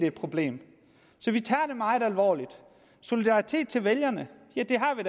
et problem så vi tager det meget alvorligt solidaritet til vælgerne ja det har